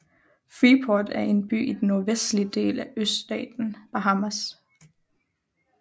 Freeport er en by i den nordvestlige del af østaten Bahamas